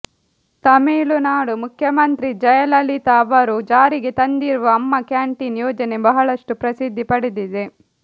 ತಮಿಳುನಾಡು ಮುಖ್ಯಮಂತ್ರಿ ಜಯಲಲಿತಾ ಅವರು ಜಾರಿಗೆ ತಂದಿರುವ ಅಮ್ಮ ಕ್ಯಾಂಟೀನ್ ಯೋಜನೆ ಬಹಳಷ್ಟು ಪ್ರಸಿದ್ಧಿ ಪಡೆದಿದೆ